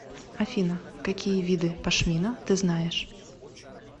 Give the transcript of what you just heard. афина какие виды пашмина ты знаешь